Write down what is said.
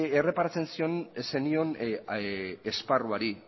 erreparatzen zenion esparruari